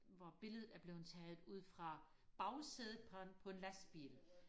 hvor billedet er blevet taget ud fra bagsædet på på en lastbil